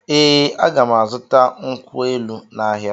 Ee, a ga m azụta nkwụ elụ n’ahịa.